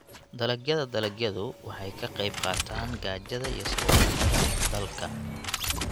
Dalagyada dalagyadu waxay ka qaybqaataan gaajada iyo saboolnimada dalka.